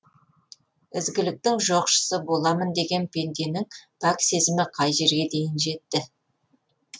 ізгіліктің жоқшысы боламын деген пенденің пәк сезімі қай жерге дейін жетті